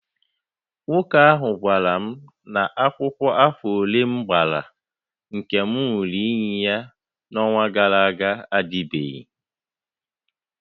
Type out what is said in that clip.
Nwoke ahụ gwara m na akwụkwọ afọ ole m gbara nke m ṅụrụ iyi ya n'ọnwa gara aga adịbeghị